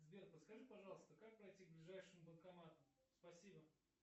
сбер подскажи пожалуйста как пройти к ближайшему банкомату спасибо